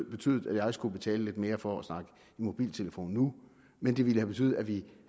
betydet at jeg skulle betale lidt mere for at snakke i mobiltelefon nu men det ville have betydet at vi